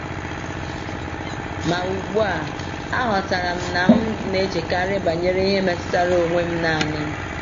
Ma ugbu a, aghọtara m na m na-echekarị banyere ihe metụtara onwe m naanị.